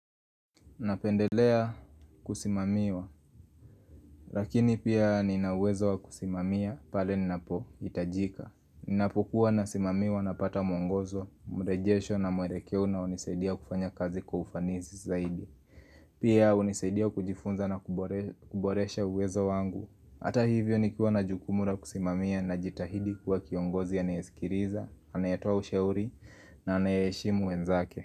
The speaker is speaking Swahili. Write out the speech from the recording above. Napendelea kusimamiwa, lakini pia nina uwezo wa kusimamia pale ninapohitajika Ninapokuwa nasimamiwa napata mwongozo, mrejesho na mwelekeo unaonisaidia kufanya kazi kwa ufanisi zaidi Pia hunisaidia kujifunza na kuboresha uwezo wangu Hata hivyo nikuwa na jukumu la kusimamia najitahidi kuwa kiongozi anayesikiliza, anayetoa ushauri na anayeshimu wenzake.